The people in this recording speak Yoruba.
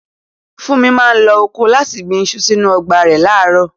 Funmi máa ń lo ọkọ́ láti gbin iṣu sínú ọgbà rẹ̀ láàárọ̀.